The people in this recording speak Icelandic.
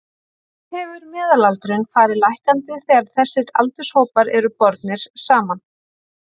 Þannig hefur meðalaldurinn farið lækkandi þegar þessir aldurshópar eru bornir saman.